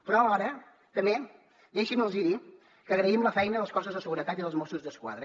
però ara també deixin me dir los que agraïm la feina dels cossos de seguretat i dels mossos d’esquadra